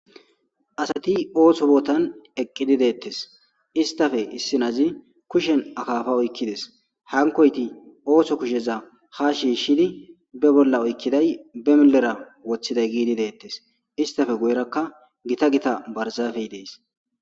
Asati ootho bootan eqqidi deetees.issi adezi be kushen akaafa oykidees. Hankoyti ootho kusheza ha shiishidi be bolla oykiday be millera wothiday giidi deetes. Izetappe guye baggara gita gita barzafeti deetees.